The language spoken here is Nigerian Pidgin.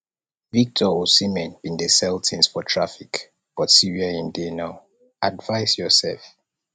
victor osimhen bin dey sell tins for traffic but see where im dey now advice yoursef